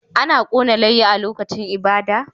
Ana kona layya a lokacin ibada